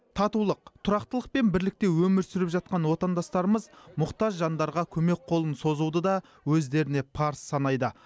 татулық тұрақтылық пен бірлікте өмір сүріп жатқан отандастарымыз мұқтаж жандарға көмек қолын созуды да өздеріне парыз санайды